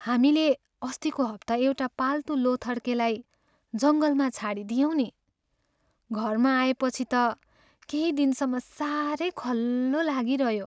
हामीले अस्तिको हप्ता एउटा पाल्तु लोथर्केलाई जङ्गलमा छाडिदियौँ नि। घरमा आएपछि त केही दिनसम्म साह्रै खल्लो लागिरह्यो।